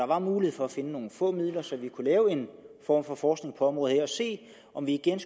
var mulighed for at finde nogle få midler så vi kunne lave en form for forskning på området her og se om vi igen